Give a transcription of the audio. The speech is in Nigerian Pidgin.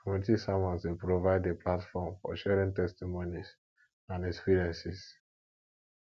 community sermons dey provide a platform for sharing testimonies and experiences